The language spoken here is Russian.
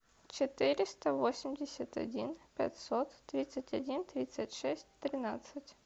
четыреста восемьдесят один пятьсот тридцать один тридцать шесть тринадцать